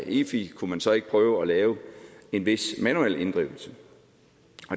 efi kunne man så ikke prøve at lave en vis manuel inddrivelse